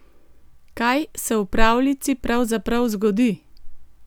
Kaj se v pravljici pravzaprav zgodi?